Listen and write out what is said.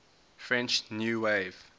french new wave